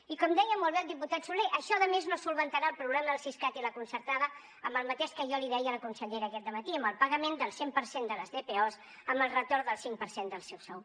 i com deia molt bé el diputat soler això a més no resoldrà el problema del siscat i la concertada amb el mateix que jo li deia a la consellera aquest dematí amb el pagament del cent per cent de les dpos amb el retorn del cinc per cent del seu sou